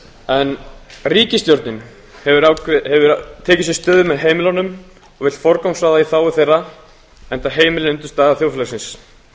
en ríkisstjórnin hefur tekið sér stöðu með heimilunum og vill forgangsraða í þágu þeirra enda heimilin í þágu þjóðfélagsins